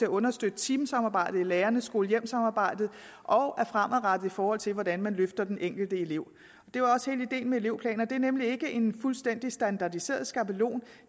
at understøtte teamsamarbejdet i lærernes skole hjem samarbejde og er fremadrettede i forhold til hvordan man løfter den enkelte elev det var også hele ideen med elevplaner det er nemlig ikke en fuldstændig standardiseret skabelon